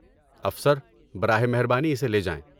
افسر، براہ مہربانی اسے لے جائیں۔